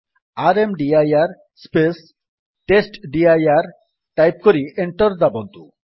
ର୍ମଦିର space ଟେଷ୍ଟଡିର type କରି enter ଦାବନ୍ତୁ